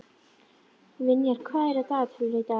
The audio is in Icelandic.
Vinjar, hvað er á dagatalinu í dag?